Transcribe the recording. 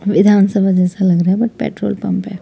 विधानसभा जैसा लग रहा है बट पेट्रोल पंप है।